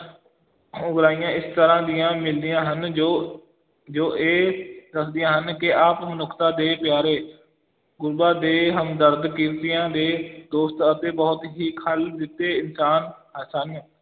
ਉਗਰਾਹੀਆਂ ਇਸ ਤਰਾਂ ਦੀਆਂ ਮਿਲਦੀਆਂ ਹਨ ਜੋ, ਜੋ ਇਹ ਦੱਸਦੀਆਂ ਹਨ ਕਿ ਆਪ ਮਨੁੱਖਤਾ ਦੇ ਪਿਆਰੇ, ਗੁਰਬਾਂ ਦੇ ਹਮਦਰਦ, ਕਿਰਤੀਆਂ ਦੇ ਦੋਸਤ ਅਤੇ ਬਹੁਤ ਹੀ ਖਲ ਇਨਸਾਨ ਅਹ ਸਨ।